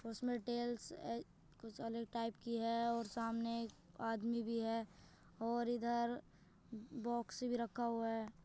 उसमें टेल्स अ कुछ अलग टाइप की है और सामने एक आदमी भी है और इधर बॉक्स भी रखा हुआ है।